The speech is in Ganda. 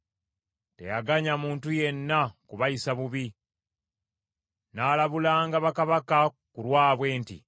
Teyaganya muntu yenna kubayisa bubi; n’alabulanga bakabaka ku lwabwe nti,